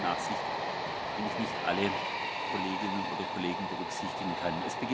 Deshalb bitte ich um Nachsicht, wenn ich nicht alle Kolleginnen oder Kollegen berücksichtigen kann.